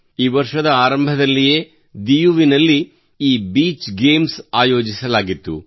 ಈ ವರ್ಷದ ಆರಂಭದಲ್ಲಿಯೇ ದಿಯುನಲ್ಲಿ ಈ ಬೀಚ್ ಗೇಮ್ಸ್ ಆಯೋಜಿಸಲಾಗಿತ್ತು